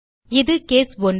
இது கேஸ் 1